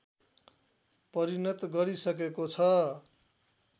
परिणत गरिसकेको छ